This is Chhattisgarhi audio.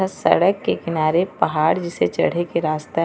सड़क के किनारे पहाड़ जैसे चढ़े के रास्ता हे।